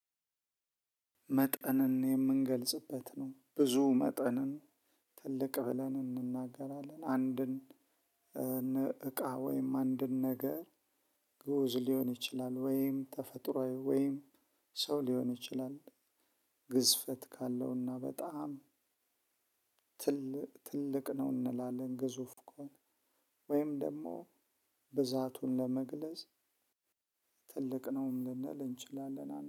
መጠንን የምንገልጽበት ነው ብዙ መጠንን ትልቅ ብለን እንናገራለን። አንድን እቃ ወይም አንድን ነገር ግኡዝ ሊሆን ይችላል። ወይም ተፈጥሮአዊ ወይም ሰው ሊሆን ይችላል። ግዝፈት ካለውና በጣም ትልቅ ነው እንላለን። ግዙፍ ከሆነ ወይም ደግሞ ብዛቱን ለመግለጽ ትልቅ ነውም ልንል እንችላለን